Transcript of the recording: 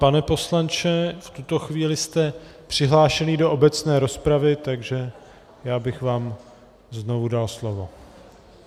Pane poslanče, v tuto chvíli jste přihlášený do obecné rozpravy, takže já bych vám znovu dal slovo.